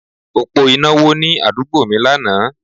Òpó iná wó ní àdúgbò mi lánàá